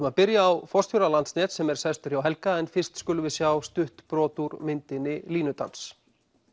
við byrjum á forstjóra Landsnets sem sestur er hjá Helga en fyrst skulum við sjá stutt brot úr myndinni línudansi